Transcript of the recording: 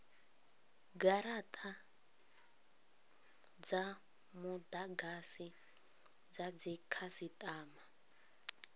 garata dza mudagasi dza dzikhasitama